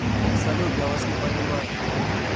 салют я вас не понимаю